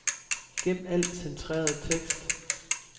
Gem al centreret tekst.